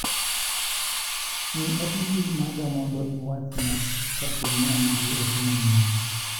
Ng'i ote mbui maga mondo iwach na kaponi an gi ote manyien.